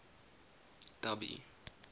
dubby